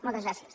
moltes gràcies